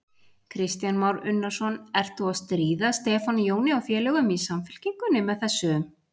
Kristján Már Unnarsson: Ert þú að stríða Stefáni Jóni og félögum í Samfylkingunni með þessu?